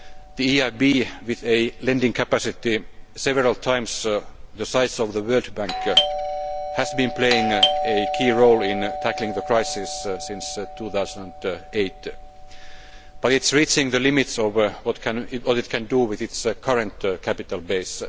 The EIB, with a lending capacity several times the size of the World Bank, has been playing a key role in tackling the crisis since 2008, but it is reaching the limits of what it can do with its current capital base.